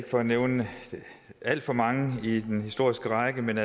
for at nævne alt for mange i den historiske række men